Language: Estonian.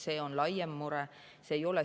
See on laiem mure.